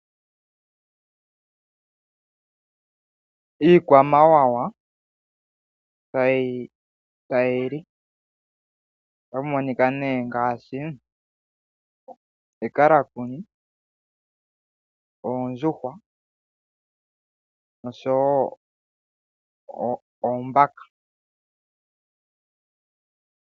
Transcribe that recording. Iikwamawawa tayi li ota pu monika nee ngaashi ekalakuni, oondjuhwa nosho woo oombaka.